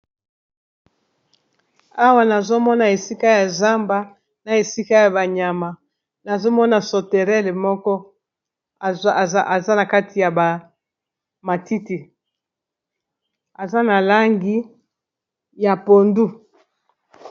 Awa nazomona esika ya zamba na esika ya ba nyama nazomona soterele moko aza na kati ya ba matiti aza na langi ya pondu.